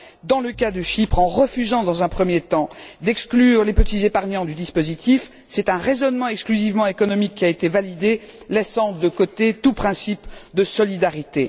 Dans le cas de Chypre, en refusant dans un premier temps d'exclure les petits épargnants du dispositif, c'est un raisonnement exclusivement économique qui a été validé, laissant de côté tout principe de solidarité.